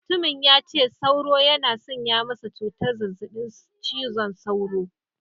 Mutumin ya ce sauro yana sanya masa cutar zazzabin cizon sauro.